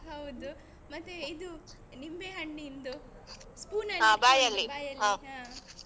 ಹೌದು ಮತ್ತೆ ಇದು ನಿಂಬೆ ಹಣ್ಣಿಂದು spoon ಅಲ್ಲಿ ಇಟ್ಕೊಂಡು ಬಾಯಲ್ಲಿ ಹಾ.